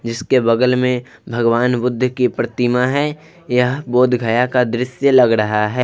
जिसके बगल में भगवान बुद्ध की प्रतिमा है यह बोधगया का दृश्य लग रहा है।